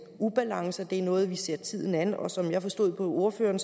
ubalancer det er noget hvor vi ser tiden an og som jeg forstod ordføreren